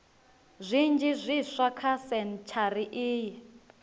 zwinzhi zwiswa kha sentshari iyi